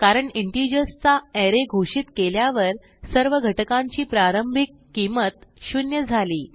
कारण इंटिजर्स चा arrayघोषित केल्यावर सर्व घटकांची प्रारंभिक किंमत 0 झाली